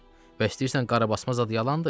Və istəyirsən qarabasma zad yalandır?